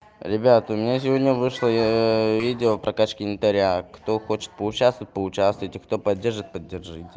ребята у меня сегодня вышла видео о прокачка инвентаря кто хочет поучаствовать поучаствуйте кто поддержит поддержите